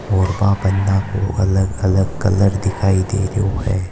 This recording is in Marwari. और बां पन्ना को अलग-अलग कलर दिखाई दे रियो है।